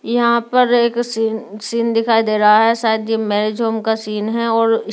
यहाँ पर एक सीन सीन दिखाई दे रहा है शायद ये मैरिज होम का सिन है।